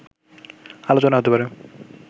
আলোচনা হতে পারে